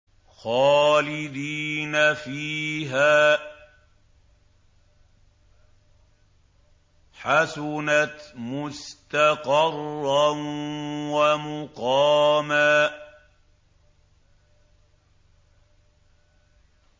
خَالِدِينَ فِيهَا ۚ حَسُنَتْ مُسْتَقَرًّا وَمُقَامًا